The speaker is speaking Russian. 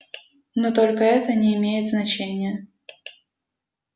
но только это не имеет значения